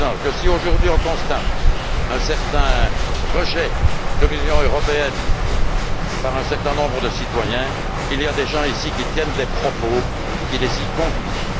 Si, aujourd'hui, on constate un rejet de l'Union européenne par un certain nombre de citoyens, il y a des gens, ici, qui tiennent des propos qui les y conduisent.